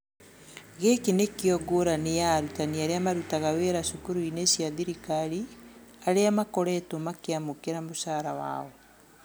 Gĩkĩ nĩ kĩo ngũrani ya arutani arĩa marutaga wĩra cukuru-inĩ cia thirikari, arĩa makoretuo makĩamukera mũcara wao.